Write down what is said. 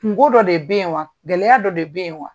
Kungo dɔ de be yen wa ? Gɛlɛya dɔ de be yen wa?